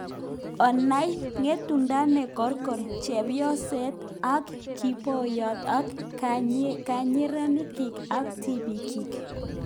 Onai " ng'etundo ne korko" chebyoset na kiboryo ak kanyerik ab tibiikyik